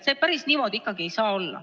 See päris niimoodi ikkagi ei saa olla.